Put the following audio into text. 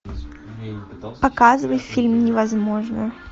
показывай фильм невозможное